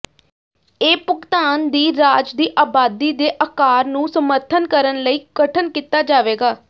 ਇਹ ਭੁਗਤਾਨ ਦੀ ਰਾਜ ਦੀ ਆਬਾਦੀ ਦੇ ਆਕਾਰ ਨੂੰ ਸਮਰਥਨ ਕਰਨ ਲਈ ਗਠਨ ਕੀਤਾ ਜਾਵੇਗਾ